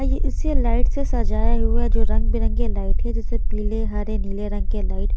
इसे लाइट से सजाया हुआ जो रंग-बिरंगे लाइट है जिसे पीले हरे नीले रंग के लाइट --